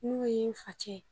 N'o ye n facɛ